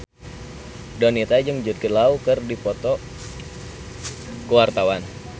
Donita jeung Jude Law keur dipoto ku wartawan